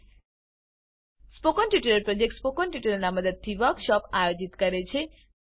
spoken tutorial project team spoken ટ્યુટોરીયલોનાં મદદથી વર્કશોપોનું આયોજન કરે છે